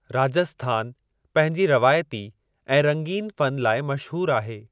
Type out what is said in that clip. राजस्थान पंहिंजी रवायती ऐं रंगीन फ़न लाइ मशहूरु आहे।